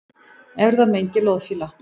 Erfðamengi loðfíla